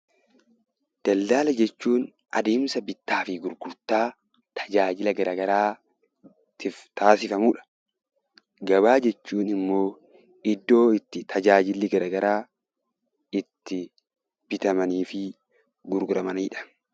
Daldaala jechuun adeemsa bittaa fi gurgurtaa tajaajila gara garaatiif taasifamu dha. Gabaa jechuun immoo iddoo itti tajaajilli gara garaa itti bitamanii fi gurguramani dha.